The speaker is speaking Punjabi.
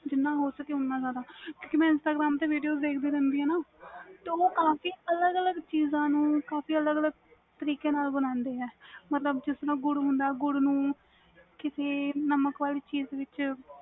ਜਿਨ੍ਹਾਂ ਹੋ ਸਕੇ ਓਹਨਾ ਜਿਆਦਾ ਕਿਉਕਿ ਮੈਂ instagram ਤੇ video ਦੇਖ ਦੀ ਰਹਿ ਦੀ ਵ ਨਾ ਉਹ ਕਾਫੀ ਅਲਗ ਅਲਗ ਚੀਜ਼ਾਂ ਨੂੰ ਅਲਗ ਅਲਗ ਤਰੀਕੇ ਨਾਲ ਬਣਾ ਦੇ ਨੇ ਮਤਬਲ ਜਿਸ ਤਰਾਂ ਗੁੜ ਹੁੰਦਾ ਵ ਗੁੜ ਨੂੰ ਨਾਮਕ ਵਿਚ